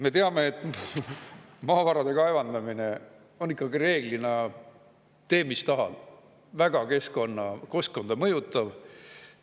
Me teame, et maavarade kaevandamine on ikkagi reeglina – tee, mis tahad – väga keskkonda mõjutav.